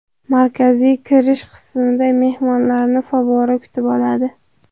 Markaziy kirish qismida mehmonlarni favvora kutib oladi.